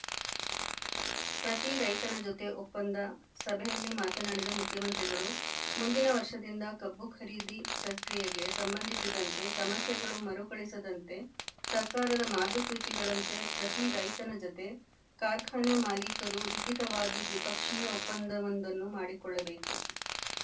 ಪ್ರತಿ ರೈತನ ಜೊತೆ ಒಪ್ಪಂದ ಸಭೆಯಲ್ಲಿ ಮಾತನಾಡಿದ ಮುಖ್ಯಮಂತ್ರಿಗಳು ಮುಂದಿನ ವರ್ಷದಿಂದ ಕಬ್ಬು ಖರೀದಿ ಪ್ರಕ್ರಿಯೆಗೆ ಸಂಬಂಧಿಸಿದಂತೆ ಸಮಸ್ಯೆಗಳು ಮರುಕಳಿಸದಂತೆ ಸರ್ಕಾರದ ಮಾರ್ಗಸೂಚಿಗಳಂತೆ ಪ್ರತಿ ರೈತನ ಜತೆ ಕಾರ್ಖಾನೆ ಮಾಲಿಕರು ಲಿಖಿತವಾಗಿ ದ್ವಿಪಕ್ಷೀಯ ಒಪ್ಪಂದವೊಂದನ್ನು ಮಾಡಿಕೊಳ್ಳಬೇಕು